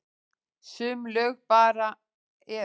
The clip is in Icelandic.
Sum lög bara eru.